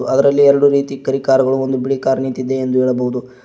ಅದರಲ್ಲಿ ಎರಡು ರೀತಿ ಕರಿ ಕಾರು ಗಳು ಒಂದು ಬಿಳಿ ಕಾರ್ ನಿಂತಿದೆ ಎಂದು ಹೇಳಬಹುದು.